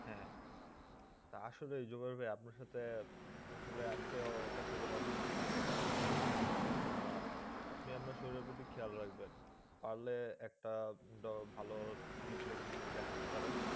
আসলে জুগল ভাই আপনার সাথে আসলে আজকে কথা বলে অনেক কিছু জানতে পারলাম। তো আহ আপনি আপনার শরীরের প্রতি খেয়াল রাখবেন। পারলে একটা ভালো চিকিৎসক দেখাতে পারেন।